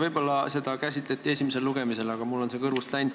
Võib-olla seda esimesel lugemisel käsitleti, aga mul on see meelest läinud.